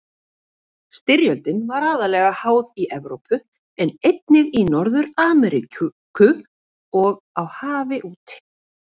Styrjöldin var aðallega háð í Evrópu en einnig í Norður-Ameríku og á hafi úti.